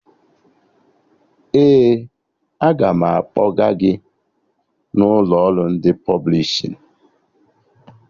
Ee, aga m akpọga gị n'ụlọ ọrụ ndị pọblishin